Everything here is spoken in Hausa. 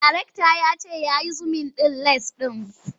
Darekta ya ce ya yi zumin ɗin lens ɗin.